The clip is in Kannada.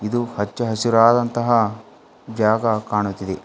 ಇದು ಹಚ್ಚ ಹಸಿರಾದಂತಹ ಜಾಗ ಕಾಣುತ್ತಿದೆ.